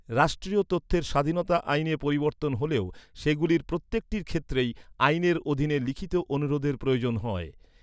রাষ্ট্রীয় তথ্যের স্বাধীনতা আইনে পরিবর্তন হলেও, সেগুলির প্রত্যেকটির ক্ষেত্রেই আইনের অধীনে লিখিত অনুরোধের প্রয়োজন হয়।